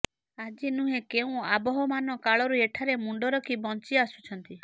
ଆଜି ନୁହେଁ କେଉଁ ଆବହମାନ କାଳରୁ ଏଠାରେ ମୁଣ୍ଡ ରଖି ବଞ୍ଚି ଆସୁଛନ୍ତି